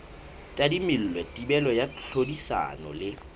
tadimilwe thibelo ya tlhodisano le